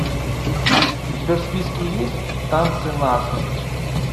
у тебя в списке есть танцы насмерть